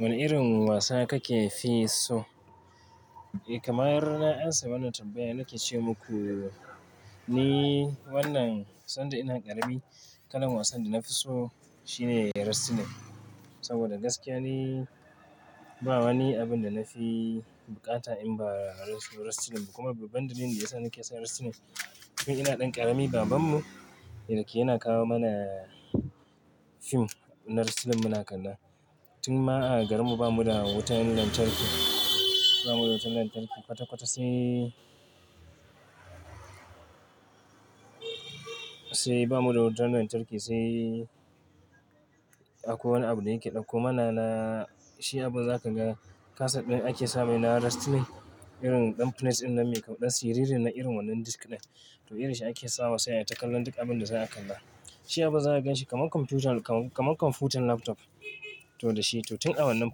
Wane irin wasa kake fi so? Eh kamar na amsa wannan tanbaya na ke ce muku ni wannan sanda ina ƙarami kalan wasan da na fi so shine wrestling saboda gaskiya ni ba wani abun da na fi bukata in ba wrestling ba kuma baban dalilin da ya sa nake son wrestling. Tun ina ɗan ƙarami babanmu yake yana kawo mana fim na wrestling muna kalla. Tun ma a garinmu bamu da wutan lantarki, ba mu da wutan lantarki kwata-kwata sai, sai ba mu da wutan lantarki sai akwai wani abu da yake ɗauko mana na shi abu za ka ga kaset ɗin ake saba yana wrestling irin ɗan prince ɗin nan mai kaɗa siririn na irin wannan diski ɗin. To irin shi ake sawa sanye takalan duka abin da za a kalla. Shi abu za ka ganshi kamar kwamfutar, kamar kwamfutan laptop to da shi. To tun awannan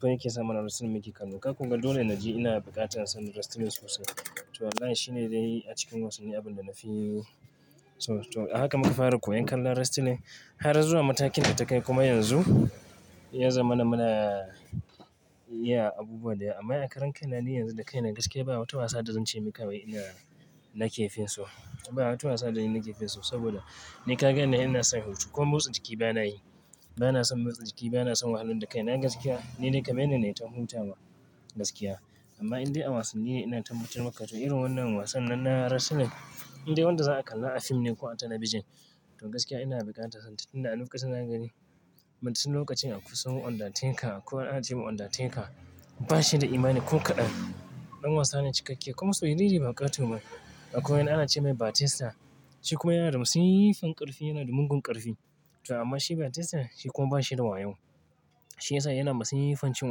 fin yake sa mana wrestling muke kallo. Ka kuma ga dole na ji ina da buƙatar son wrestling sosai. To wallahi shi ne dai a cikin wasanni abin da na fi so. To a haka muka fara koyan kallon wrestling. Har zuwa matakin da takai kuma yanzu ya zama na muna iya abubuwa da amma a karan kai na yanzu da kai nan gaskiya ba wata wasa da zan ce mika wai ina, nake fin so. Ba wata wasa da nake fin so saboda ni ka gani ina son hutu ko motsa jiki bana yi. Ba na son motsa jiki bana son wahalan da kai. Na gaskiya ni ne kamar nan ne na yi ta huta ma gaskiya amma in dai a wasannin ne ina ta mutumka to irin wannan wasan nan na wrestling in dai wanda za a kalla a fim ne ko a talabijin to gaskiya ina da bukata. Inda a lokacin za gani masu lokacin a kusa mau Undateka akwai wani ana ce mai Undateka bashi da imani ko ƙadan. Ɗan wasa ne cikakke kuma siriri ba ƙato ba. Akwai wani ana ce mai Batista shi kuma yana da masiffan ƙarfi yana da mugun ƙarfi to amma shi Batista shi kuma ba shi da wayo. Shi ya sa yana da masiffan cin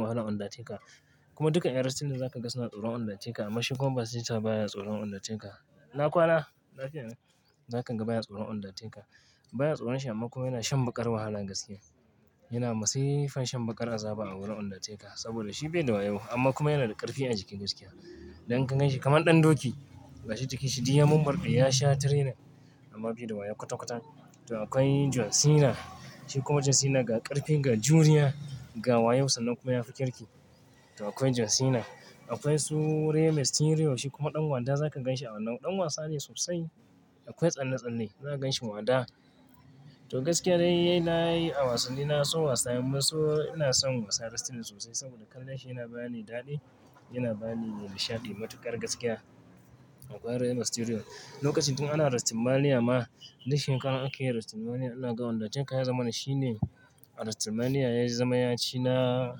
wahalan Undateka kuma duka a wrestling za ka ga suna tsoron Undateka amma shi kuma Batista baya tsoron Undateka. Ina kwana, lafiya lau, za ka gan baya tsoron Undateka. Baya tsoron shi amma kuma yana shan baƙar wahala gaskiya. Yana da masiffan shan baƙar azaba a wurin Undateka saboda shi bai da wayo amma kuma yana da ƙarfi a jiki gaskiya. Dan kan ganshi kamar ɗan doki gashi jiki shi diamar ɗaya ya sha trainer amma bai da wayo kwata-kwata. To akwai John Cena. Shi kuma John Cena ga ƙarfi, ga juriya, ga wayausan nan kuma ya fi kirki. To akwai John Cena. Akwai su Rey Mysterio shi kuma ɗan wada za ka ganshi a wannan. Ɗan wasa ne sosai. Akwai tsanne-tsanne za ka ganshi wada. To gaskiya dai na yi a wasannin na so wasa amma so ina son wasa wrestling sosai saboda kallon shi yana bani daɗi, yana bani nishaɗi matuƙar gaskiya. Akwai Rey Mysterio. Lokacin tun ana Wrestlemania ma, duk shekarar ake yin Wrestlemania ina ga Undateka ya zama na shi ne a Wrestlemania ya yi zama ya ci na,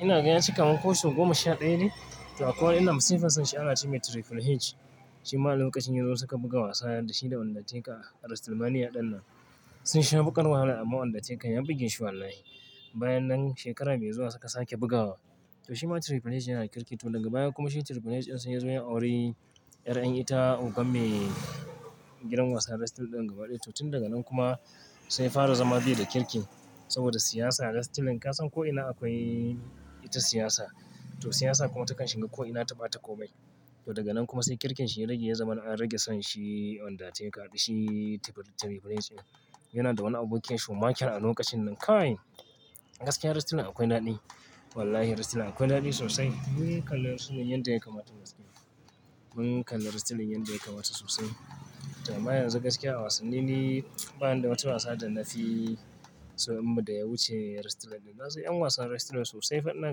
ina ga ya ci kamar ko so goma sha ɗaya ne. To akwai wani yana da masiffan shi ana ce mai Triple H. Shi ma a lokacin yanzu suka buga wasa da shi da Undateka a Wrestlemania ɗan nan. Sun sha baƙar wahala amma Undateka ya bugi shi wallahi. Bayan nan shekara biyu zuwa suka sake bugawa. To shi ma Triple H yana kirki to daga baya kuma shi Triple H ɗin sai ya zo ya auri ƴar ƴan ita ogan me gidan wasan wrestling ɗin gaba ɗaya. To tun daga nan kuma sai fara zama bai da kirki saboda siyasa a wrestling ka san ko'ina akwai ita siyasa. To siyasa kuma ta kan shiga ko'ina ta bata komai. To daga nan kuma sai kirkin shi ya rage ya zama an rage son shi Undateka da shi Triple H ɗin. Yana da wani abokin shi Shawn michael a lokacin nan. Kai gaskiyar wrestling akwai daɗi. Wallahi wrestling akwai daɗi sosai. Mun kalla su manyan da suka mata gaskiya. Mun kalla wrestling yan da kamata sosai. To amma yanzu gaskiya a wasannin ne ba wanda wata wasa da na fi so amma da ya wuce wrestling ne. Na so 'yan wasan wrestling sosai fa ina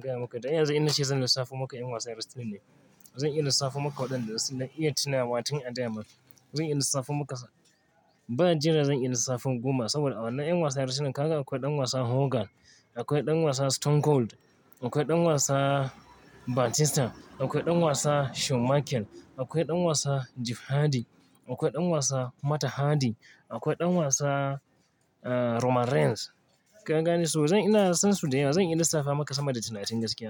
gaya maka. Dan yanzu ina ce zan lissafo maka 'yan wasan wrestling ne. Zan iya lissafo maka waɗanda suna iya tunawa tun a da ma zan iya lissafo maka ba jira zan iya lissafo goma saboda a wannan 'yan wasan wrestling kaga akwai ɗan wasa Hogan, akwai ɗan wasa Stone Cold, akwai ɗan wasa Batista, akwai ɗan wasa Shawn michael, akwai ɗan wasa Jeff Hardy, akwai ɗan wasa Matt Hardy, akwai ɗan wasa, ah, Roman Reigns. Ka gane so zan ina son su da yawa zan iya lissafa maka sama da tunatin gaskiya.